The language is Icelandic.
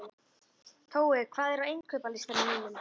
Tói, hvað er á innkaupalistanum mínum?